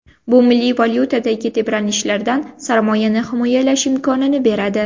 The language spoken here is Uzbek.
Bu milliy valyutadagi tebranishlardan sarmoyani himoyalash imkonini beradi.